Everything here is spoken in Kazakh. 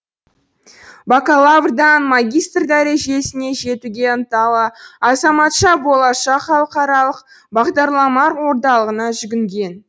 бакалаврдан магистр дәрежесіне жетуге ынталы азаматша болашақ халықаралық бағдарламалар орталығына жүгінген